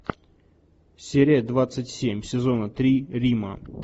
серия двадцать семь сезона три рима